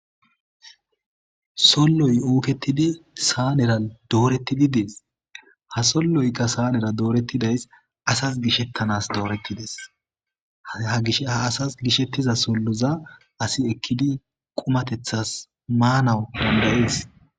solloy ooketidi saanera doorettidi dees ha solloyka saanera doorettidays asas gishettanas doorettides ha gish ha asas gishettiza solloza asi ekkidi qumatethas maanawu dandayees